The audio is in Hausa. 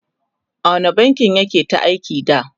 a wani bankin yake ta aiki da?